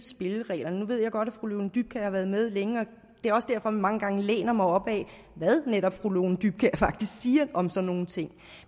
spillereglerne nu ved jeg godt at fru lone dybkjær har været med længe og det er også derfor mange gange læner mig op ad hvad netop fru lone dybkjær faktisk siger om sådan nogle ting